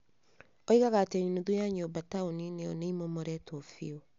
Oigaga atĩ nuthu ya nyũmba taũni-inĩ ĩyo nĩ imomoretwo biũ.